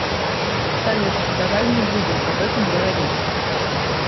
салют давай не будем об этом говорить